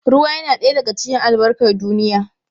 Ruwa yana ɗaya daga cikin albarkar duniya.